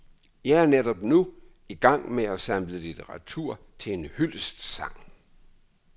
Jeg er netop nu i gang med at samle litteratur til en hyldestsang.